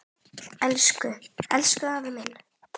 Elsku, elsku afi minn.